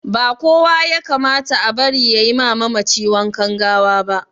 Ba kowa yakamata a bari yayima mamaci wankan gawaba